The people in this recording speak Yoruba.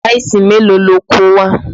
Táìsì mélòó lo kó wá?